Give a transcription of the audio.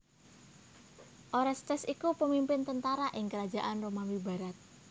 Orestes iku pemimpin tentara ing Krajaan Romawi barat